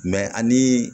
Mɛ ani